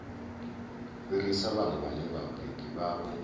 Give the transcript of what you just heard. fhirisa vhana vhane vhabebi vhavho